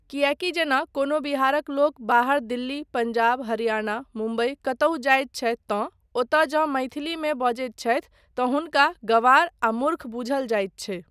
किएकी जेना कोनो बिहारक लोक बाहर दिल्ली, पञ्जाब, हरियाणा, मुम्बई कतहुँ जाइत छथि तँ ओतय जँ मैथिलीमे बजैत छथि तँ हुनका गँवार आ मुर्ख बूझल जाइत छै।